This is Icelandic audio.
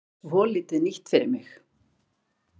Svolítið nýtt fyrir mig.